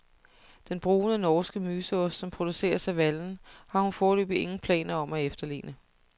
Den brune norske myseost, som produceres af vallen, har hun foreløbig ingen planer om at efterligne.